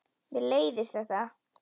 Mér leiðist þetta.